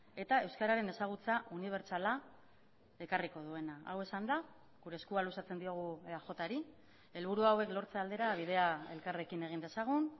eta euskararen ezagutza unibertsala ekarriko duena hau esanda gure eskua luzatzen diogu eaj ri helburu hauek lortze aldera bidea elkarrekin egin dezagun